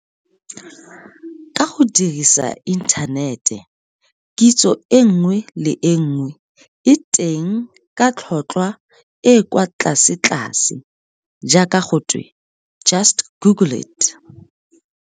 Ka go dirisa inthanete kitso e nngwe le e nngwe e teng ka tlhotlhwa e e kwa tlasetlase jaaka go twe just google it.